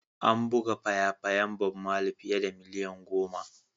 An buga faya-fayan Bob Marley fiye da miliyan goma.